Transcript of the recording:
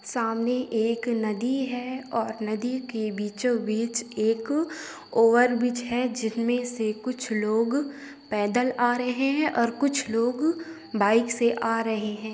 सामने एक नदी है और नदी के बीचों बीच एक ओवरब्रिज है जिसमें से कुछ लोग पैदल आ रहे हैं और कुछ लोग बाइक से आ रहे हैं।